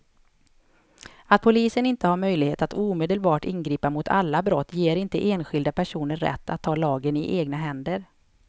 Att polisen inte har möjlighet att omedelbart ingripa mot alla brott ger inte enskilda personer rätt att ta lagen i egna händer.